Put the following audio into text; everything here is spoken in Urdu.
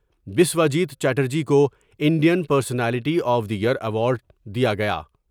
بسواجیت چٹر جی کوانڈ ین پرسنالٹی آف دی امرایوارڈ دیا گیا ۔